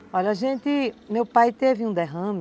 Olha, a gente... Meu pai teve um derrame.